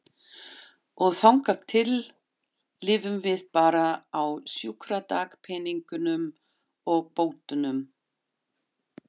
Og þangað til lifum við bara á sjúkradagpeningunum og bótunum.